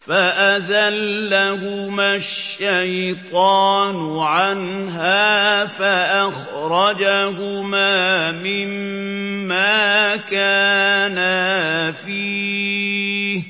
فَأَزَلَّهُمَا الشَّيْطَانُ عَنْهَا فَأَخْرَجَهُمَا مِمَّا كَانَا فِيهِ ۖ